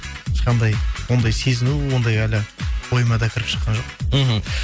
ешқандай ондай сезіну ондай әлі ойыма да кіріп шыққан жоқ мхм